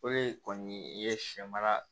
Olu kɔni i ye sɛ mara